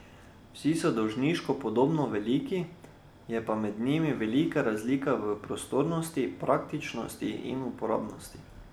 Vsi so dolžinsko podobno veliki, je pa med njimi velika razlika v prostornosti, praktičnosti in uporabnosti.